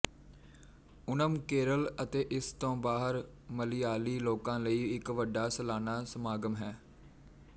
ਓਣਮ ਕੇਰਲ ਅਤੇ ਇਸ ਤੋਂ ਬਾਹਰ ਮਲਿਆਲੀ ਲੋਕਾਂ ਲਈ ਇੱਕ ਵੱਡਾ ਸਲਾਨਾ ਸਮਾਗਮ ਹੈ